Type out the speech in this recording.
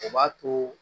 O b'a to